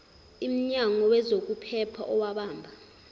imnyango wezokuphepha owabamba